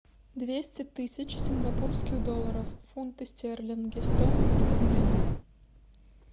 двести тысяч сингапурских долларов в фунты стерлинги стоимость обмена